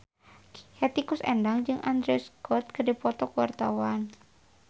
Hetty Koes Endang jeung Andrew Scott keur dipoto ku wartawan